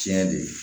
Tiɲɛ de